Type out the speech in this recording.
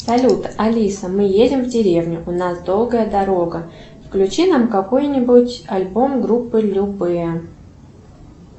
салют алиса мы едем в деревню у нас долгая дорога включи нам какой нибудь альбом группы любэ